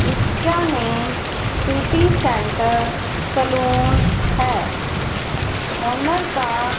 इसका name city centre salon है owner का --